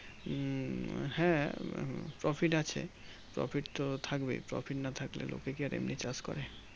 উম হ্যাঁ Profit আছে Profit তো থাকবেই Profit না থাকলে লোকে কি আর এমনি চাষ করে